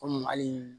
Komi hali